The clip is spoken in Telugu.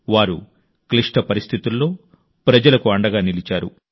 వారు క్లిష్ట పరిస్థితుల్లో ప్రజలకు అండగా నిలిచారు